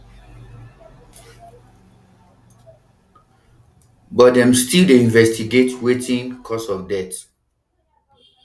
but dem still dey investigate wetin cause of death